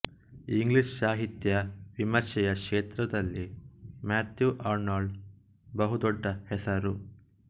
English ಸಾಹಿತ್ಯ ವಿಮರ್ಶೆಯ ಕ್ಷೇತ್ರದಲ್ಲಿ ಮ್ಯಾಥ್ಯೂ ಆರ್ನಲ್ಡ್ ಬಹುದೊಡ್ಡ ಹೆಸರು